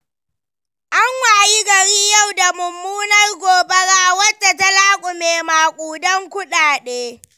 An wayi gari yau da mummunar gobara wadda ta laƙume maƙudan kuɗi.